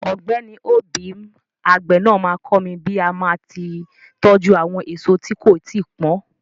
Ọ̀gbẹ́ni obim, àgbè náà máa kọ́ mi bí màá tí tọ́jú àwọn èso tí kò tíì pọ́n.